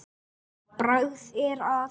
Bragð er að.